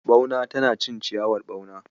Ɓauna tana cin ciyawar ɓauna..